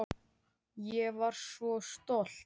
Ég var svo stolt.